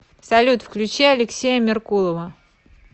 салют включи алексея меркулова